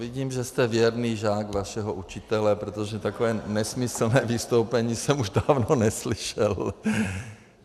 Vidím, že jste věrný žák vašeho učitele, protože takové nesmyslné vystoupení jsem už dávno neslyšel.